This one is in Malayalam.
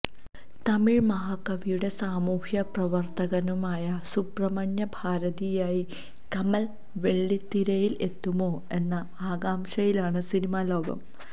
തമിഴ് മഹാകവിയും സാമൂഹ്യപ്രവര്ത്തകനുമായ സുബ്രഹ്മണ്യ ഭാരതിയായി കമല് വെള്ളിത്തിരയില് എത്തുമോ എന്ന ആകാംക്ഷയിലാണ് സിനിമാ ലോകം